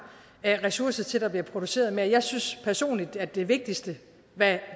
ressourcer til at der bliver produceret mere jeg synes personligt at det vigtigste hvad